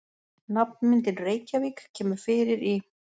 Nafnmyndin Reykjarvík kemur fyrir í